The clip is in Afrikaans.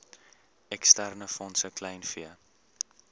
eksterne fondse kleinvee